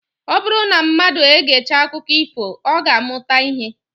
Ọ bụrụ na mmadụ egechaa akụkọ ifo, ọ ga-amụta ihe